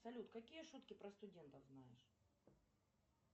салют какие шутки про студентов знаешь